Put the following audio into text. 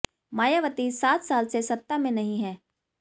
मायावती सात साल से सत्ता में नहीं हैं